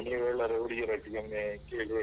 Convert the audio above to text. ಹೌದೌದು ನೀವೆಲ್ಲರು ಹುಡುಗಿಯರೊಟ್ಟಿಗೆ ಒಮ್ಮೆ ಕೇಳ್ ಹೇಳಿ.